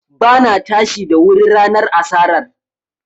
Ba na tashi da wuri ranar asarar